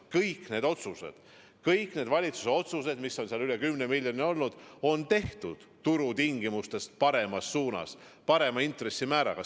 Kõik need otsused, kõik need valitsuse otsused, mis on puudutanud rohkem kui 10 miljonit, on tehtud turutingimustest soodsamalt, parema intressimääraga.